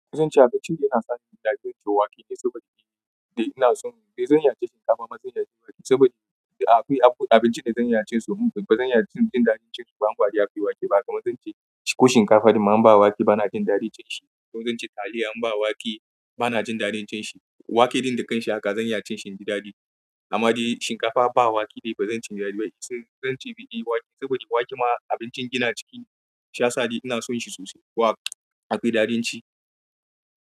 Zan ce abincin da yana sa ni in yi ɗarin cin wake ne saboda biɗi. Ina son, dai zan iya cin shinkafa amma zan iya cin wake saboda akwai abincin da zan iya cin su kuma bazan iya cin ɗarin cin shi ba. Anguwan wake ba kuma zan ce ko shinkafa da ma ban ba wake bana jin daɗin cin shi. Ko zan ce taliya in ba wake bana jin daɗin cin shi. Wake ɗin da kan shiga zan iya cin shi jin daɗi. Amma dai shinkafa ba wake dai bazan ci daɗi ba. Zan ce biɗi wake saboda wake ma abincin gina jiki ne, shi yasa ni ina son shi sosai. Wake akwai daɗin ci.